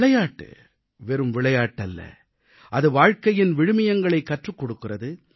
விளையாட்டு வெறும் விளையாட்டு அல்ல அது வாழ்க்கையின் விழுமியங்களைக் கற்றுக் கொடுக்கிறது